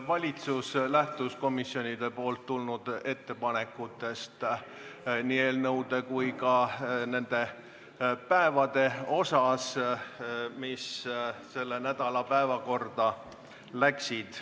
Juhatus lähtus komisjonidelt tulnud ettepanekutest, nii eelnõude kui ka päevade osas, mis selle nädala päevakorda läksid.